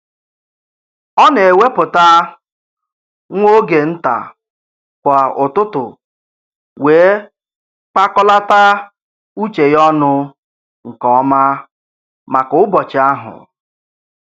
Ọ na-ewepụta nwa oge nta kwa ụtụtụ wee kpakọlata uche ya ọnụ nke ọma maka ụbọchị ahụ